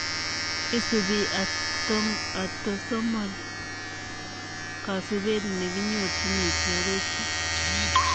Isupii atosomol kasupeet nekinyorchinii chii agoi chii.